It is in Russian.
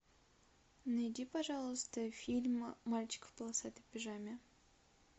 найди пожалуйста фильм мальчик в полосатой пижаме